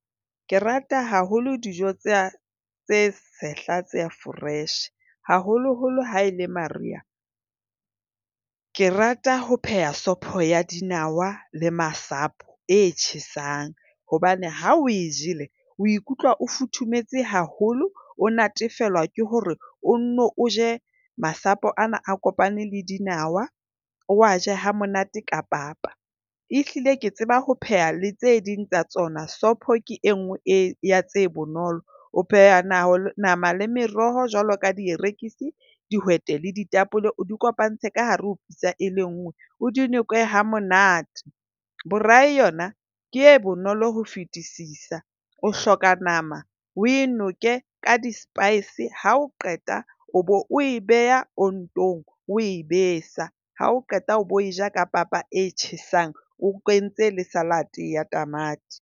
Ke rata haholo dijo tse tse sehla tse fresh, haholoholo haele Mariha. Ke rata ho pheha sopho ya dinawa le masapo e tjhesang hobane ha o e jele o ikutlwa o futhumetse haholo, o natefelwa ke hore o nno o je masapo ana a kopane le dinawa. O a je hamonate ka papa. Ehlile ke tseba ho pheha le tse ding tsa tsona. Sopho ke e nngwe ya tse bonolo, O pheha nama, nama le meroho jwalo ka dierekise, dihwete le ditapole. O di kopantshe ka hare ho pitsa e le nngwe. O di noke hamonate. Braai yona ke e bonolo ho fetisisa. O hloka nama o e noke ka di-spice. Ha o qeta o be o e beha ontong, o e besa. Ha o qeta o be o ja ka papa e tjhesang, o kentse le salad ya tamati.